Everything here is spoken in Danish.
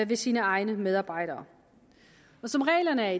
ved sine egne medarbejdere og som reglerne er